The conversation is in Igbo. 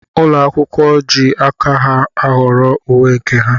Ụlọ akwụkwọ jị aka ha ahọrọ uwe nke ha.